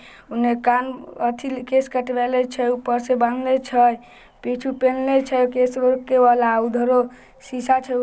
ओनने काम अथी केश कटबे ले छै